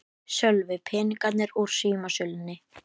Sölvi: Peningarnir úr símasölunni?